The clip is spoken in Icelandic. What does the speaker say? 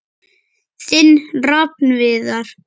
Þinn Rafn Viðar.